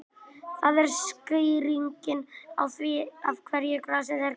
Það er skýringin á því af hverju grasið er grænt.